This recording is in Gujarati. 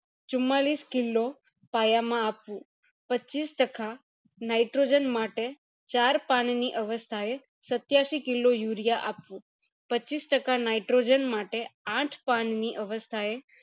ચુમ્માલીસ kilo પાયા માં આપવું પચીસ ટકા nitrogen માટે ચાર પાનની અવસ્થા એ સત્યાસી kilo urea આપવું પચીસ ટકા nitrogen માટે આઠ પણ ની અવસ્થા એ